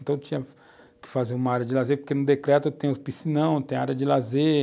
Então, tinha que fazer uma área de lazer, porque no decreto tem o piscinão, tem a área de lazer,